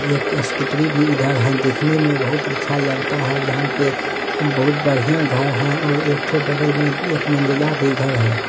ये एक स्कूटी भी इधर है देखने में बहुत अच्छा लगता है यहाँ पे बहुत बढ़िया घर है और एकठो बगल में एक मंजिला भी घर है।